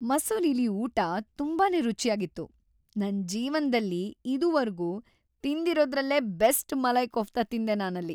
ಮಸೂರಿಲಿ ಊಟ ತುಂಬಾನೇ ರುಚ್ಯಾಗಿತ್ತು. ನನ್ ಜೀವನ್ದಲ್ಲಿ ಇದುವರ್ಗೂ ತಿಂದಿರೋದ್ರಲ್ಲೇ ಬೆಸ್ಟ್ ಮಲೈ ಕೋಫ್ತಾ ತಿಂದೆ ನಾನಲ್ಲಿ.